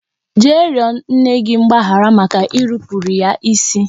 Jee yọọ nne gị mgbaghara maka irupuru ya isi